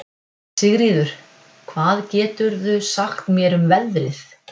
Sigríður, hvað geturðu sagt mér um veðrið?